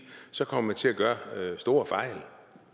så kommer man til at gøre store fejl